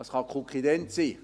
Das kann Kukident sein.